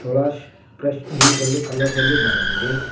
Cholas fresh juice ಎಂದು ಕನ್ನಡದಲ್ಲಿ ಬರೆದಿದೆ.